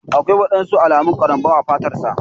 Aƙwai waɗansu alamun karambau a fatar sa.